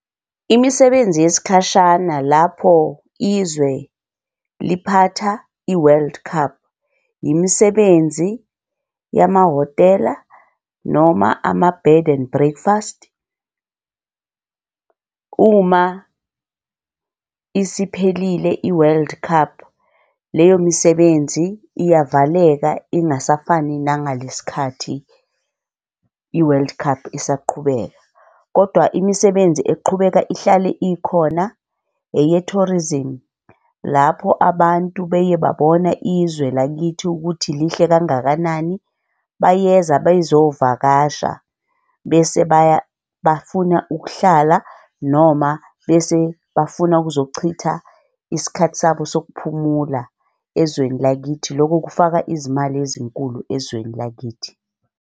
Imisebenzi yesikhashana lapho izwe liphatha i-world cup. Imisebenzi yamahhotela noma ama-bed and breakfast. Uma isiphelile i-world cup, leyo misebenzi iyaveleka ingasafani nangale sikhathi i-world cup isaqhubeka. Kodwa imisebenzi eqhubeka ihlale ikhona eye-tourism lapho abantu beye babona izwe lakithi ukuthi lihle kangakanani bayeza bezovakasha, bese baya bafuna ukuhlala noma bese bafuna ukuzochitha isikhathi sabo sokuphumula ezweni lakithi. Loko kufaka izimali ezinkulu ezweni lakithi.